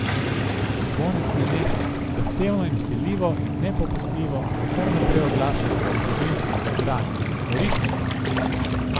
Zvonec ne neha, zahtevno in vsiljivo in nepopustljivo se kar naprej oglaša s svojim kovinskim drdranjem, norišnica!